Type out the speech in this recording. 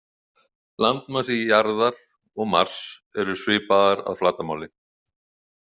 Landmassar Jarðar og Mars eru svipaðir að flatarmáli.